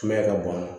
Sumaya ka bon